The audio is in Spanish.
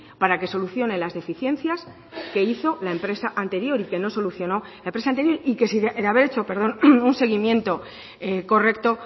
para que solucione las deficiencias que hizo la empresa anterior y que no solucionó y que de haber hecho un seguimiento correcto